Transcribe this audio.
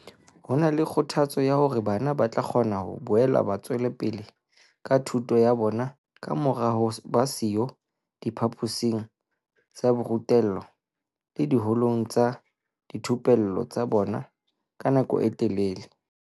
Ho na le kgothatso ya hore bana ba tla kgona ho boela ba tswela pele ka thuto ya bona kamora ho ba siyo diphaposing tsa borutelo le diholong tsa dithupello tsa bona ka nako e telele.